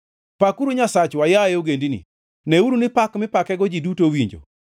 Pakuru Nyasachwa, yaye ogendini, neuru ni pak mipakego ji duto owinjo;